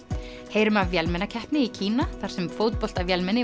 heyrum af vélmennakeppni í Kína þar sem